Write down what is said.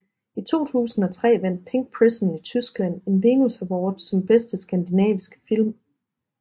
I 2003 vandt Pink Prison i Tyskland en Venus Award som Bedste Skandinaviske Film